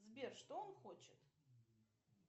сбер что он хочет